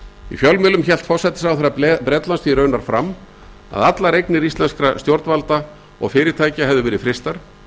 í fjölmiðlum hélt forsætisráðherra bretlands því raunar fram að allar eignir íslenskra stjórnvalda hefðu verið frystar